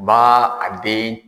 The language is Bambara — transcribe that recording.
B'a a den